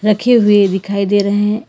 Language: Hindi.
रखे हुए दिखाई दे रहे हैं।